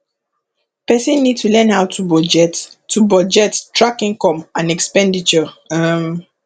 person need to learn how to budget to budget track income and expenditure um